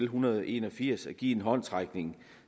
hundrede og en og firs at give en håndsrækning